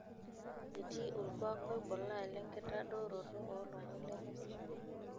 Etii olkuak oibulaa lenkitadaroto oo lomon lemesipa.